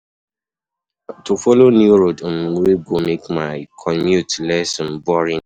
To follow new road um wey go make my commute less um boring.